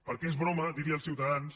perquè és broma dir als ciutadans